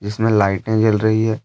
इसमें लाइटें जल रही है।